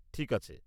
ঠিক আছে।